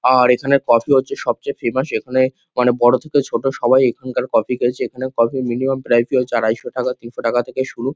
আর এখানের কফি হচ্ছে সবচেয়ে ফেমাস . এখানে মানে বড়ো থেকে ছোট সবাই এখানকার কফি খেয়েছে। এখানের কফি মিনিমাম প্রাইস -ই হচ্ছে আড়াইশ টাকা তিনশো টাকা থেকে শুরু।